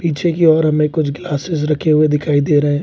पीछे की ओर हमें कुछ ग्लासेस रखे हुए दिखाई दे रहे हैं।